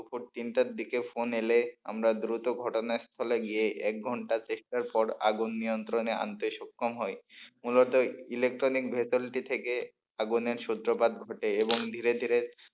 দুপুর তিনটার দিকে ফোন এলে আমরা দ্রুত ঘটনার স্থলে গিয়ে এক ঘন্টা চেষ্টার পর আগুন নিয়ন্ত্রণে আনতে সক্ষম হই মূলত ইলেকট্রনিক ভে সেলটি থেকে আগুনের সূত্রপাত ঘটে এবং ধীরে ধীরে,